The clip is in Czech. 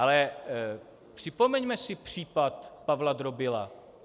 Ale připomeňme si případ Pavla Drobila.